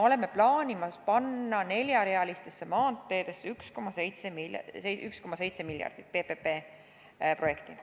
Me plaanime panna neljarealistesse maanteedesse PPP-projektina 1,7 miljardit eurot.